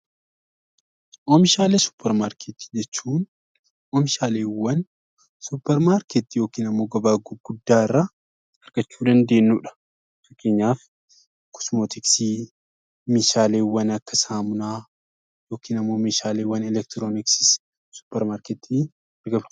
Oomishaalee suupparmaarkeetii jechuun oomishaaleewwan suupparmaarkeetii yookaan gabaa gurguddaa irraa argachuu dandeenyudha. Fakkeenyaaf meeshaaleewwan Akka saamunaa, kosmootiksii fi kan kana fakkaatan